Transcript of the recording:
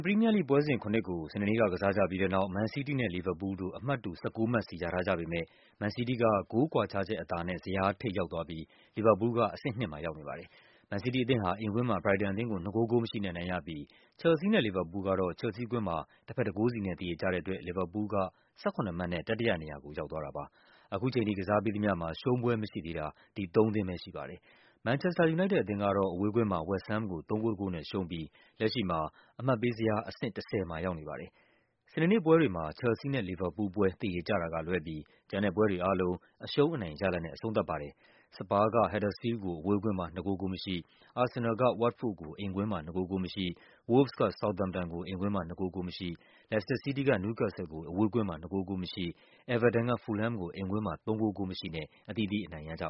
ပရီးမီးယားလိဂ်ပွဲစဉ် ၇ ကို စနေနေ့က ကစားကြပြီးတဲ့နောက် မန်စီးတီးနဲ့ လီဗာပူးလ်တို့ အမှတ်တူ ၁၉ မှတ်စီ ရထားကြပေမဲ့ မန်စီးတီးက ဂိုးကွာခြားချက်အသာနဲ့ ဇယား ထိပ်ရောက်သွားပြီး လီဗာပူးလ်က အဆင့် ၂ မှာရောက်နေပါတယ်။ မန်စီးတီးအသင်းဟာ အိမ်ကွင်းမှာ ဘရိုက်တန်အသင်းကို ၂ ဂိုး ဂိုးမရှိနဲ့ အနိုင်ရပြီး ချယ်လ်ဆီးနဲ့ လီဗာပူးလ်တို့ကတော့ ချယ်လ်ဆီးကွင်းမှာ တဘက် ၁ ဂိုးစီနဲ့ သရေကျတဲ့ အတွက် လီဗာပူးလ်က ၁၇ မှတ်နဲ့ တတိယနေရာကို ရောက်သွားတာပါ။ ခုချိန်ထိကစားပြီးသမျှမှာ ရှုံးပွဲမရှိသေးတာ ဒီသုံးသင်းပဲရှိပါတယ်။ မန်ချက်စတာ ယူနိုက်တက်အသင်းကတော့ အဝေးကွင်းမှာ ဝက်စ်ဟမ်းကို ၃ ဂိုး ၁ ဂိုးနဲ့ရှုံးပြီး လက်ရှိမှာ အမှတ်ပေးဇယား အဆင့် ၁၀ မှာရောက်နေပါတယ်။ စနေနေ့ပွဲတွေမှာ ချယ်လ်ဆီးနဲ့ လီဗာပူးလ်ပွဲ သရေကျတာကလွဲပြီး ကျန်တဲ့ပွဲတွေအားလုံး အရှုံး အနိုင်ရလဒ်နဲ့ အဆုံးသတ်ပါ တယ်။ စပါးက ဟတ်ဒါစ်ဖီးလ်ဒ်ကို အဝေးကွင်းမှာ ၂ ဂိုး ဂိုးမရှိ၊ အာဆင်နယ်လ်က ဝတ်တ်ဖို့ဒ်ကို အိမ်ကွင်းမှာ ၂ ဂိုး ဂိုးမရှိ၊ ဝို့လ်ဗ်စ်က ဆောက်သမ်ပ် တန်ကို အိမ်ကွင်းမှာ ၂ ဂိုး ဂိုးမရှိ၊ လက်စတာ စီးတီးက နယူးကက်ဆယ်လ်ကို အဝေးကွင်း မှာ ၂ ဂိုး ဂိုးမရှိ၊ အဲဗာတန်က ဖူလ်ဟမ်းကို အိမ်ကွင်းမှာ ၃ ဂိုး ဂိုးမရှိနဲ့ အသီးသီး အနိုင်ရကြ